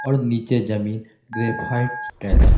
और नीचे जमीन ग्रेफाइट टाइल्स है।